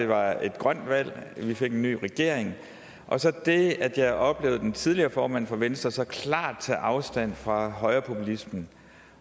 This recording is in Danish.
var et grønt valg at vi fik en ny regering og så det at jeg oplevede den tidligere formand for venstre så klart tage afstand fra højrepopulismen